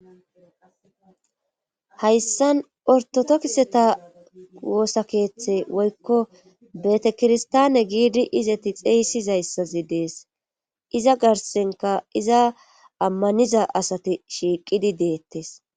Hayssan ortotokiseta woosakeeththe woykko betekirstaane giidi izati xeeysizayssazi dees iza garsenka iza ammaniza asati shiiqidi deettes.